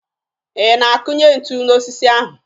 Ị na-akụnye ntu n'osisi ahụ?